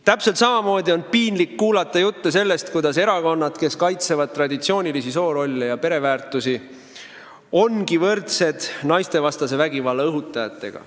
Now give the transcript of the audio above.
Täpselt samamoodi on piinlik kuulata juttu sellest, kuidas erakonnad, kes kaitsevad traditsioonilisi soorolle ja pereväärtusi, on võrdsed naistevastase vägivalla õhutajatega.